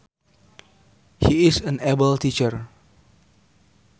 She is an able teacher